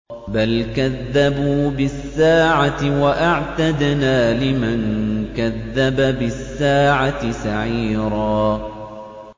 بَلْ كَذَّبُوا بِالسَّاعَةِ ۖ وَأَعْتَدْنَا لِمَن كَذَّبَ بِالسَّاعَةِ سَعِيرًا